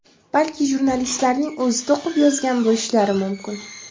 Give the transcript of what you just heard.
Balki jurnalistlarning o‘zi to‘qib yozgan bo‘lishlari mumkin.